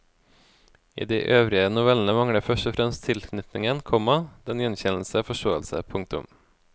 I de øvrige novellene mangler først og fremst tilknytningen, komma den gjenkjennende forståelse. punktum